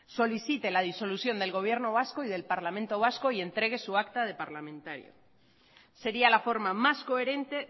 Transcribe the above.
solicite la disolución del gobierno vasco y del parlamento vasco y entregue su acta de parlamentario sería la forma más coherente